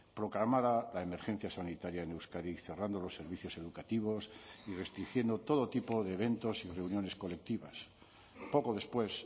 proclamara la emergencia sanitaria en euskadi cerrando los servicios educativos y restringiendo todo tipo de eventos y reuniones colectivas poco después